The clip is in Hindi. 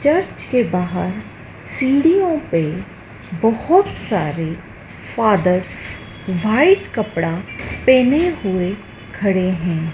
चर्च के बाहर सीढ़ियों पे बहोत सारे फादर वाइट कपड़ा पहने हुए खड़े हैं।